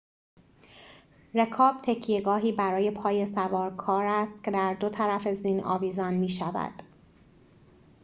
رکاب تکیه‌گاهی برای پای سوارکار است که در دو طرف زین آویزان می‌شود